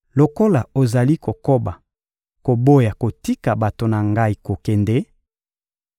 Lokola ozali kokoba koboya kotika bato na Ngai kokende,